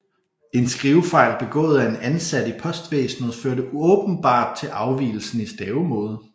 En skrivefejl begået af en ansat i postvæsenet førte åbenbart til afvigelsen i stavemåde